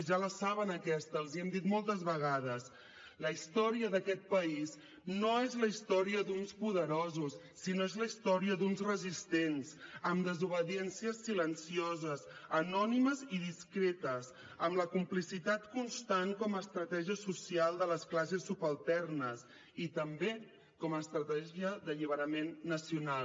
ja la saben aquesta els ho hem dit moltes vegades la història d’aquest país no és la història d’uns poderosos sinó és la història d’uns resistents amb desobediències silencioses anònimes i discretes amb la complicitat constant com a estratègia social de les classes subalternes i també com a estratègia d’alliberament nacional